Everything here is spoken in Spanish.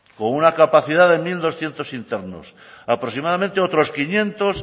con una capacidad de mil doscientos internos aproximadamente otros quinientos